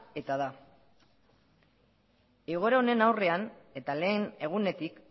eta da egoera honen aurrean eta lehen egunetik